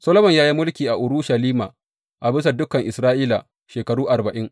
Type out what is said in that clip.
Solomon ya yi mulki a Urushalima, a bisa dukan Isra’ila, shekaru arba’in.